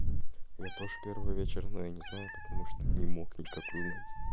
я тоже первый вечер но я не знаю потому что не мог никак узнать